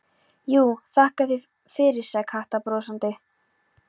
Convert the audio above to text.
Jú, þakka þér fyrir sagði Kata brosandi.